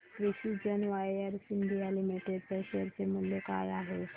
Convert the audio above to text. आज precision wires India limited च्या share चे मूल्य काय आहे